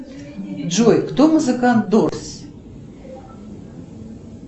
джой кто музыкант дорс